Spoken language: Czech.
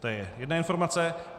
To je jedna informace.